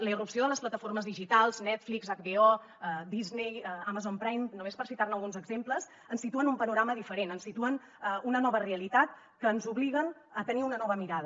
la irrupció de les plataformes digitals netflix hbo disney amazon prime només per citar ne alguns exemples ens situa en un panorama diferent ens situa en una nova realitat que ens obliga a tenir una nova mirada